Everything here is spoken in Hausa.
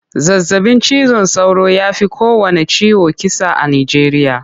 Zazabin cizon sauro ya fi kowanne ciwo kisa a Nijeriya.